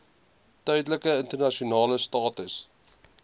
tydelike internasionale status